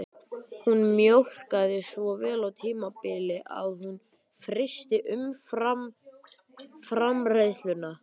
Hún mjólkaði svo vel á tímabili að hún frysti umfram-framleiðsluna